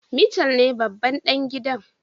Michael ne babban dan gidan.